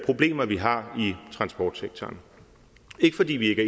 problemer vi har i transportsektoren ikke fordi vi ikke